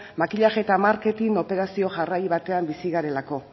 makillaje eta marketing operazio jarrai batean bizi garelako